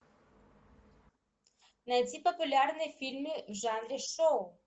найди популярные фильмы в жанре шоу